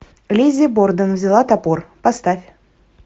лиззи борден взяла топор поставь